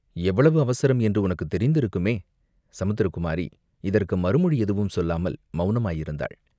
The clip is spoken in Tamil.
எவ்வளவு அவசரம் என்று உனக்குத் தெரிந்திருக்குமே?" சமுத்திரகுமாரி இதற்கு மறுமொழி எதுவும் சொல்லாமல் மௌனமாயிருந்தாள்.